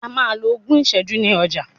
A máa lo ogún ìsẹ́jú ní ọjà.